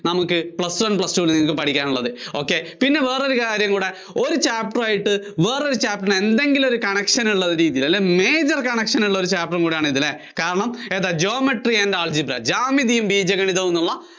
നമുക്ക് Plus one Plus two ന് നിങ്ങൾക്ക് പഠിക്കാനുള്ളത് ok പിന്നെ വേറൊരു കാര്യം കൂടെ ഒരു Chapter ആയിട്ട് വേറൊരു Chapter ന് എന്തെങ്കിലും ഒരു Connection ഉള്ള രീതിയിൽ അല്ലെങ്കിൽ Major Connection ഉള്ള Chapter കൂടെ ആണിത് അല്ലേ കാരണം ഏതാ Geometryandalgebra അതായത് ജ്യാമിതി ബീജഗണിതം എന്നുള്ള